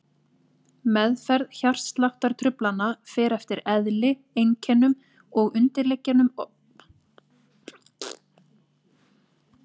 Meðferð hjartsláttartruflana fer eftir eðli, einkennum og undirliggjandi orsökum truflana.